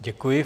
Děkuji.